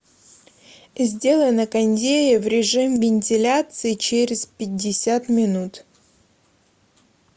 сделай на кондее в режим вентиляции через пятьдесят минут